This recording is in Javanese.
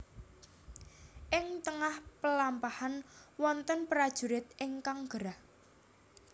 Ing tengah pelampahan wonten prajurit ingkang gerah